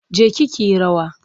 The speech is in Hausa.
Je ki ki yi rawa!